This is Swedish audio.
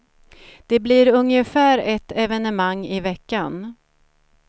Det blir ungefär ett evenemang i veckan.